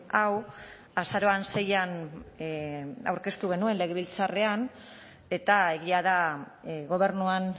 hau azaroan seian aurkeztu genuen legebiltzarrean eta egia da gobernuan